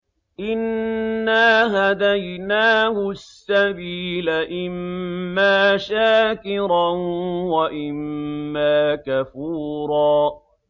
إِنَّا هَدَيْنَاهُ السَّبِيلَ إِمَّا شَاكِرًا وَإِمَّا كَفُورًا